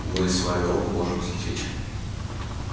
мы с вами оба можем взлететь